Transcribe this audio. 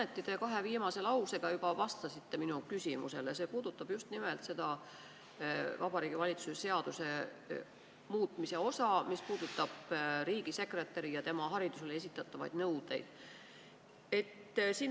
Mõneti te kahe viimase lausega juba vastasite minu küsimusele, see puudutab just nimelt seda Vabariigi Valitsuse seaduse muutmist, riigisekretäri ja tema haridusele esitatavaid nõudeid.